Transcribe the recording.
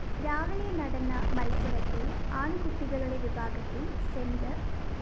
രാവിലെ നടന്ന മത്സരത്തില്‍ ആണ്‍കുട്ടികളുടെ വിഭാഗത്തില്‍ സെന്റ്